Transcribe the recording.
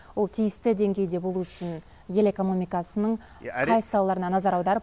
ол тиісті деңгейде болу үшін ел экономикасының қай салаларына назар аударып